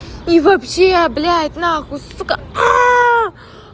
и вообще блядь нахуй сука